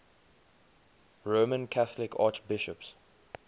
roman catholic archbishops